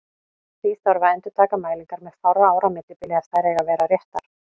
Því þarf að endurtaka mælingar með fárra ára millibili ef þær eiga að vera réttar.